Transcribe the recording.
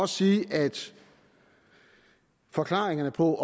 sige at forklaringerne på